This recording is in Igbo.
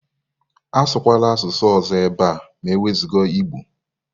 Asụkwala asụsụ ọzọ ebe a ma ewezuga Igbo.